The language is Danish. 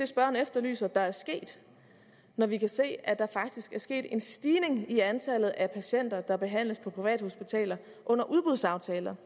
spørgeren efterlyser der er sket når vi kan se at der faktisk er sket en stigning i antallet af patienter der behandles på privathospitaler under udbudsaftaler